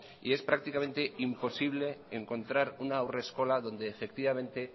y es prácticamente imposible encontrar un haurreskola donde efectivamente